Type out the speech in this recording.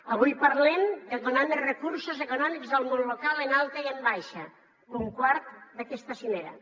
avui parlem de donar més recursos econòmics al món local en alta i en baixa punt quart d’aquesta cimera